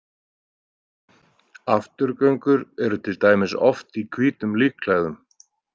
Afturgöngur eru til dæmis oft í hvítum líkklæðum.